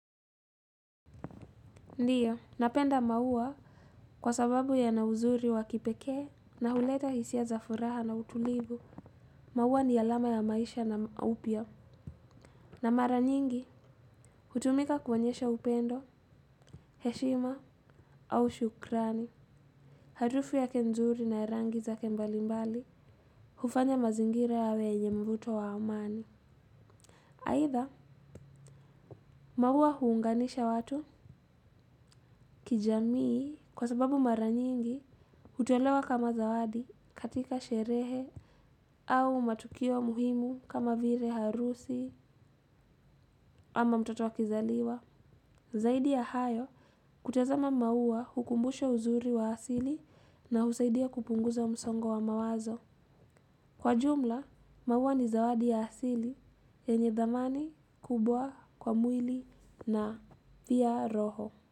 Ndiyo, napenda maua kwa sababu yana uzuri wa kipekee na huleta hisia za furaha na utulivu. Maua ni alama ya maisha na upia. Na mara nyingi, hutumika kuonyesha upendo, heshima au shukrani. Harufu yake nzuri na rangi zake mbali mbali hufanya mazingira yawe yenye mvuto wa amani. Aidha, maua huunganisha watu kijamii kwa sababu mara nyingi hutolewa kama zawadi katika sherehe au matukio muhimu kama vile harusi ama mtotoa akizaliwa. Zaidi ya hayo, kutazama maua hukumbusho uzuri wa asili na husaidia kupunguza msongo wa mawazo. Kwa jumla, maua ni zawadi ya asili yenye dhamani kubwa kwa mwili na pia roho.